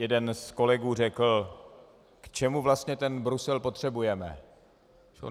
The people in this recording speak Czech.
Jeden z kolegů řekl: K čemu vlastně ten Brusel potřebujeme?